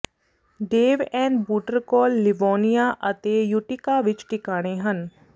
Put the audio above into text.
ਡੇਵ and ਬੂਟਰ ਕੋਲ Livonia ਅਤੇ ਯੂਟਿਕਾ ਵਿੱਚ ਟਿਕਾਣੇ ਹਨ